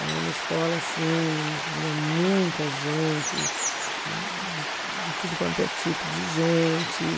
Era uma escola assim que vinha muita gente, de de tudo quanto é tipo de gente.